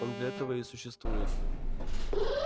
он для этого и существует